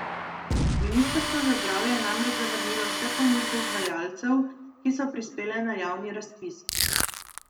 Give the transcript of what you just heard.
Ministrstvo za zdravje je namreč zavrnilo vse ponudbe izvajalcev, ki so prispele na javni razpis.